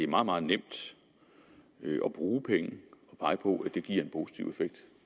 meget meget nemt at bruge penge og pege på at det giver en positiv effekt